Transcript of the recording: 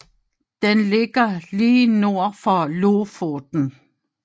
Den ligger lige nord for Lofoten